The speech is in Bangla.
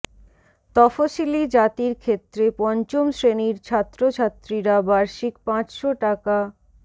তফসিলী জাতির ক্ষেত্রে পঞ্চম শ্রেণির ছাত্রছাত্রীরা বার্ষিক পাঁচশো টাকা